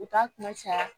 U t'a kuma caya